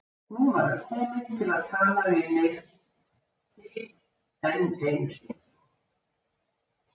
Nú var hann kominn til að tala mig til enn einu sinni.